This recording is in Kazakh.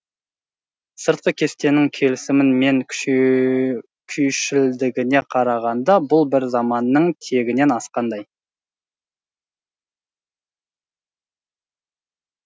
сыртқы кестенің келісімі мен күйшілдігіне қарағанда бұл бір заманның тегінен асқандай